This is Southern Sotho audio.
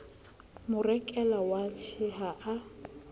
mo rekela watjhe ha a